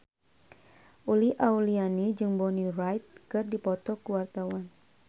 Uli Auliani jeung Bonnie Wright keur dipoto ku wartawan